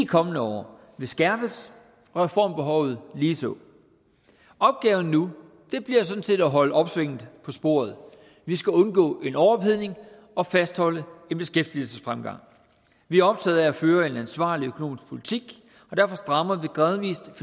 kommende år vil skærpes og reformbehovet ligeså opgaven nu bliver sådan set at holde opsvinget på sporet vi skal undgå en overophedning og fastholde en beskæftigelsesfremgang vi er optaget af at føre en ansvarlig økonomisk politik og derfor strammer vi gradvis